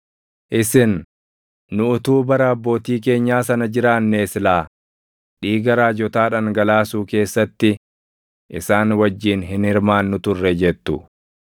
Isin, ‘Nu utuu bara abbootii keenyaa sana jiraannee silaa dhiiga raajotaa dhangalaasuu keessatti isaan wajjin hin hirmaannu ture’ jettu.